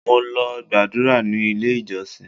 Mo lọ gbàdúrà ní ilé ìjọsìn.